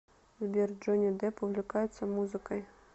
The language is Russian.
сбер джонни депп увлекается музыкой